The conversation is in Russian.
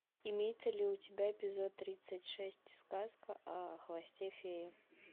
имеется ли у тебя эпизод тридцать шесть сказка о хвосте феи